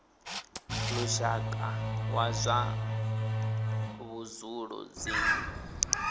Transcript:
lushaka wa zwa vhudzulo dzinnu